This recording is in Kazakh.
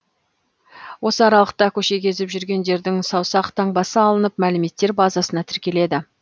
осы аралықта көше кезіп жүргендердің саусақ таңбасы алынып мәліметтер базасына тіркеледі